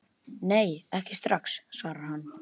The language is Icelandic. Nei, ekki strax, svarar hann.